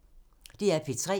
DR P3